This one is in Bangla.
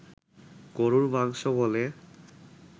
গরুর মাংস বলে